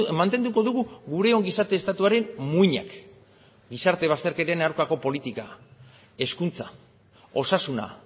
mantenduko dugu gure ongizate estatuaren muinak gizarte bazterketen aurkako politika hezkuntza osasuna